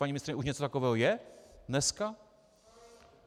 Paní ministryně, už něco takového je dneska?